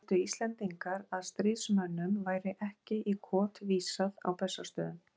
Töldu Íslendingar, að stríðsmönnum væri ekki í kot vísað á Bessastöðum.